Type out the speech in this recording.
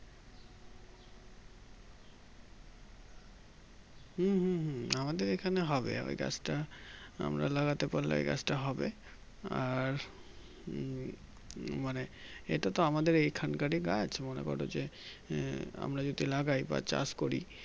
হুম হুম হুম আমাদের এই খানে হবে এই গাছটা আমরা লাগাতে পারলে এই গাছটা হবে আর উম মানে এটাতো আমাদের এইখানকারী গাছ মনে করো যে উম আমরা যদি লাগাই বা চাষ করি